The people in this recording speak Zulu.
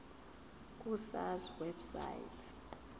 ku sars website